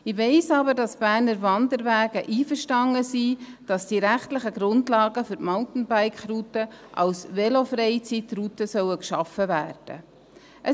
Ich weiss aber, dass die Berner Wanderwege einverstanden sind damit, dass die rechtlichen Grundlagen für die Mountainbike-Routen als Velofreizeitrouten geschaffen werden sollen.